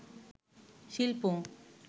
শিল্প